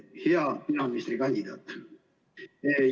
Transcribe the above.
Hea peaministrikandidaat!